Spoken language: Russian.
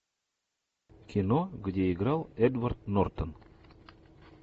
кино где играл эдвард нортон